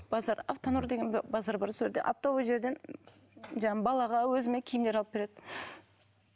базар автонұр деген базар бар сол жерде оптовый жерден жаңағы балаға өзіме киімдер алып береді